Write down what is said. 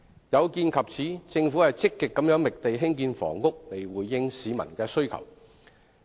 有見及此，政府積極覓地興建房屋以回應市民的需求。